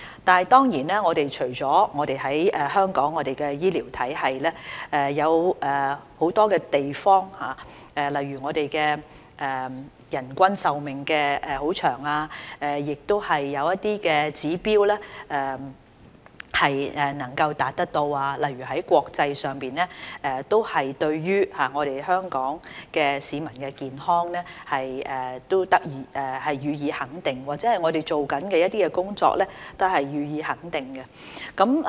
當然，除了香港的醫療體系，有很多地方例如人均壽命長，亦有一些指標能夠達到，國際上對於香港市民的健康予以肯定，對我們正在做的工作也予以肯定。